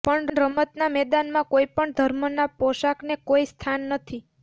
પણ રમતના મેદાનમાં કોઇ પણ ધર્મના પોશાકને કોઇ સ્થાન નથી